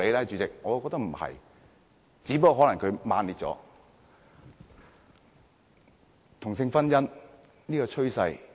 主席，我覺得不是，只不過可能用詞比較強烈。